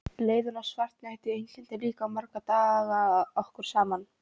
Leiðinn og svartnættið einkenndu líka marga daga okkar saman.